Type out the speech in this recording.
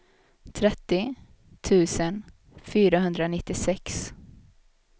trettio tusen fyrahundranittiosex